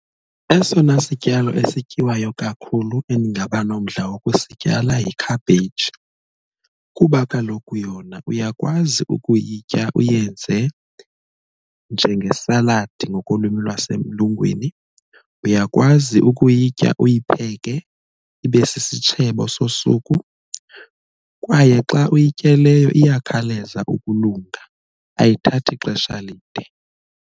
Esona sityalo esityiwayo kakhulu endingaba nomdla wokusityala yi-cabbage kuba kaloku yona uyakwazi ukuyitya uyenze njengesaladi ngokolwimi lwasemlungwini, uyakwazi ukuyitya uyipheke ibe sisitshebo sosuku, kwaye xa uyityeleyo iyakhawuleza ukulunga ayithathi ixesha lide.